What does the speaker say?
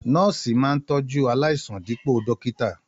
Nọ́ọ́sì máa ń tọjú aláìsàn dipo dókítà.